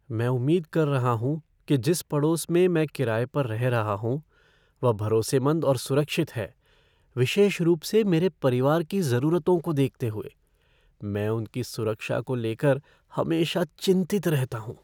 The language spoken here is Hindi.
मैं उम्मीद कर रहा हूँ कि जिस पड़ोस में मैं किराए पर रह रहा हूं वह भरोसेमंद और सुरक्षित है, विशेष रूप से मेरे परिवार की जरूरतों को देखते हुए। मैं उनकी सुरक्षा को लेकर हमेशा चिंतित रहता हूँ।